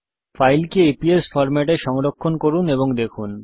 ফাইলকে EPS format এ সংরক্ষণ করুন এবং দেখুন